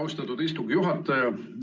Austatud istungi juhataja!